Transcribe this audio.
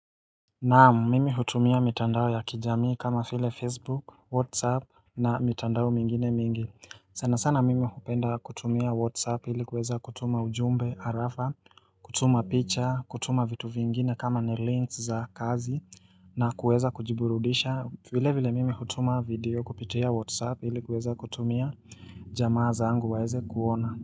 Naamu mimi hutumia mitandao ya kijamii kama file facebook whatsapp na mitandao mingine mingi sana sana mimi hupenda kutumia whatsapp hili kuweza kutuma ujumbe arafa kutuma picha kutuma vitu vingine kama ni links za kazi na kuweza kujiburudisha vile vile mimi hutuma video kupitea whatsapp hili kuweza kutumia jamaa zangu waeze kuona.